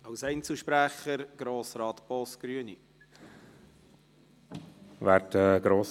Als Einzelsprecher hat Grossrat Boss, Grüne, das Wort.